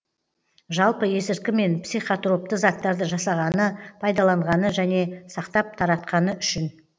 жалпы есірткі мен психотропты заттарды жасағаны пайдаланғаны және сақтап таратқаны үшін